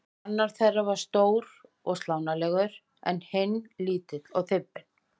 Annar þeirra er stór og slánalegur en hinn lítill og þybbinn.